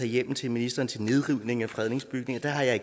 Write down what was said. hjemmel til ministeren til nedrivning af fredede bygninger er